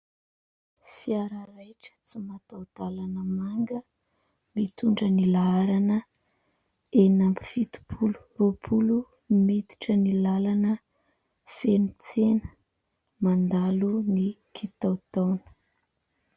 Fiara raitra tsy mataodalana manga mitondra ny laharana enina amby fitopolo, roapolo miditra ny lalana feno tsena mandalo ny kitotona.